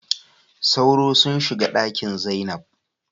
Sauro sunshiga Ɗakin zainab.